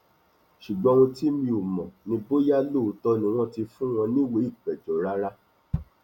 ṣùgbọn ohun tí mi ò mọ ni bóyá lóòótọ ni wọn ti fún wọn níwèé ìpéjọ rárá